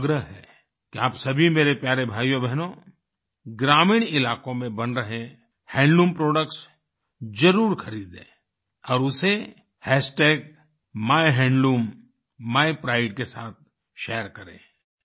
मेरा आपसे आग्रह है कि आप सभी मेरे प्यारे भाइयोबहनों ग्रामीण इलाकों में बन रहे हैंडलूम प्रोडक्ट्स जरूर खरीदें और उसे माइहैंडलूमीप्राइड के साथ शेयर करें